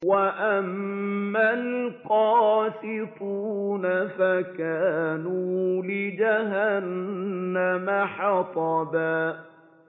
وَأَمَّا الْقَاسِطُونَ فَكَانُوا لِجَهَنَّمَ حَطَبًا